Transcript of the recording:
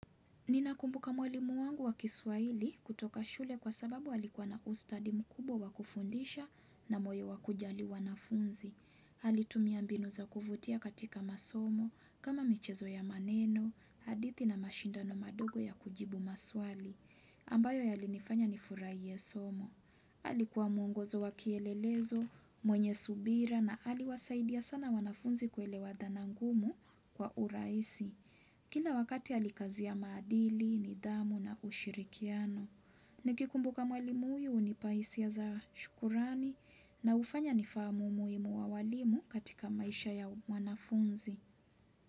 Ninakumbuka mwalimu wangu wa kiswaili kutoka shule kwa sababu halikuwa na ustadi mkubwa wa kufundisha na moyo wa kujali wanafunzi. Halitumia mbinu za kufutia katika masomo kama michezo ya maneno, hadithi na mashindano madogo ya kujibu maswali, ambayo yalinifanya nifuraie somo. Halikuwa mungozo wa kielelezo, mwenye subira na hali wasaidia sana wanafunzi kuelewa dhana ngumu kwa uraisi. Kila wakati halikazia madili, nidamu na ushirikiano. Nikikumbuka mwalimu huyu hunipa isia za shukurani na ufanya nifamu umuimu wa walimu katika maisha ya mwanafunzi.